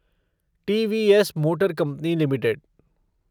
TVS motor company limited